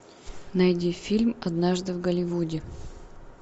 найди фильм однажды в голливуде